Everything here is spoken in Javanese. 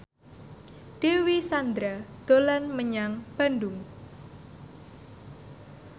Dewi Sandra dolan menyang Bandung